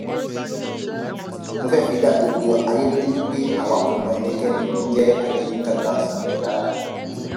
mo fẹẹ fi dá gbogbo ayé lójú wí pé àwa kò mọ ẹnikẹni tó ń jẹ adéyinka grandson rí rárá